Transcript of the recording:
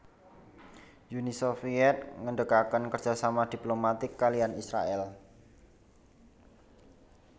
Uni Soviet ngendegaken kerjasama diplomatik kaliyan Israèl